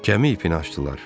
Gəmi ipini açdılar.